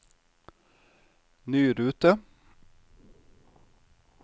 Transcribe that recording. ny rute